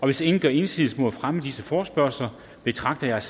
hvis ingen gør indsigelse mod fremme af disse forespørgsler betragter jeg